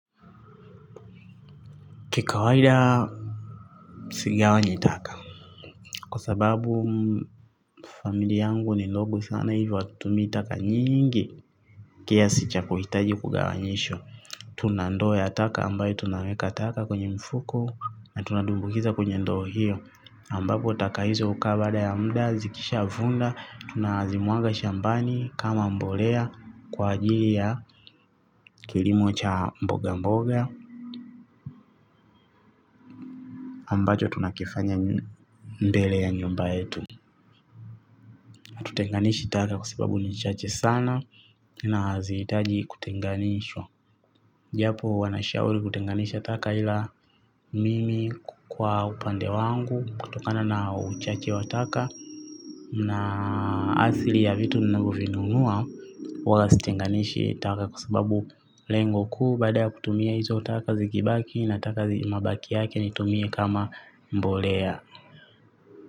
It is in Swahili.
Kikawaida sijawai jitaka kwa sababu familia yangu ni ndogo sana hivyo hawatumii taka nyingi kiasi cha kuhitaji kugawanyishwa. Tunandoo ya taka ambayo tunaweka taka kwenye mfuko na tunatumbukiza kwenye ndoo hiyo ambapo taka hizo hukaa baada ya muda zikishaa vunda tunazimwaga shambani kama mbolea kwa ajili ya kilimo cha mboga mboga ambacho tunakifanya mbele ya nyumba yetu. Hatutenganishi taka kwa sababu ni chache sana na hazihitaji kutenganishwa japo wanashauri kutenganisha taka ila mimi kwa upande wangu kutokana na uchache wa taka na asili ya vitu ninavyo vinunua huwa sitenganishi taka kwa sababu lengo kuu baada kutumia hizo taka zikibaki na taka mabaki yake nitumie kama mbolea.